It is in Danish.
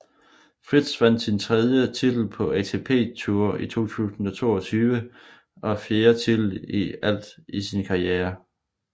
Fritz vandt sin tredje titel på ATP Tour i 2022 og fjerde titel i alt i sin karriere